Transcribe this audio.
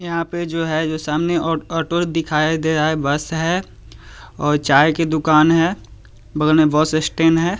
यहाँ पे जो है जो सामने ओटो दिखाई दे रहा है बस है और चाय की दुकान है बगल में बस स्टैंड है।